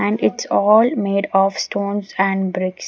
and it's all made of stones and bricks.